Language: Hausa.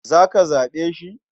Za ka zaɓe shi?